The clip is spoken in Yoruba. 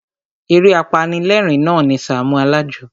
Eré apanilérìn na ni Sàámú Alájọ.